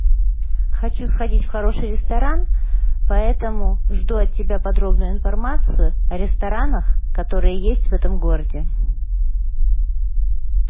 хочу сходить в хороший ресторан поэтому жду от тебя подробную информацию о ресторанах которые есть в этом городе